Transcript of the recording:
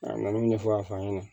A na n'u ɲɛfɔ a ɲɛna